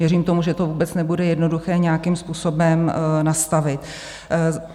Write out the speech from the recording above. Věřím tomu, že to vůbec nebude jednoduché nějakým způsobem nastavit.